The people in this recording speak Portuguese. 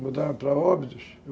mudaram para óbidos.